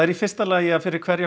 í fyrsta lagi að fyrir hverja